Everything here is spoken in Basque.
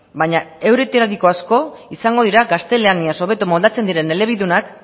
baino auretariko asko izango dira gaztelaniaz hobeto moldatzen diren elebidunak